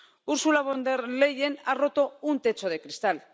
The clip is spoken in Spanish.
Ursula von der Leyen ha roto un techo de cristal.